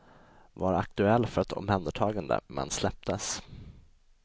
Var aktuell för ett omhändertagande, men släpptes.